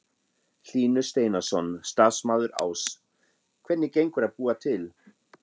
Hlynur Steinarsson, starfsmaður Áss: Hvernig gengur að búa til?